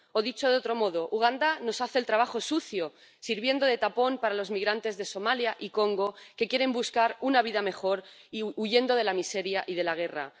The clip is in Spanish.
O, dicho de otro modo Uganda nos hace el trabajo sucio, sirviendo de tapón para los migrantes de Somalia y Congo que quieren buscar una vida mejor huyendo de la miseria y de la guerra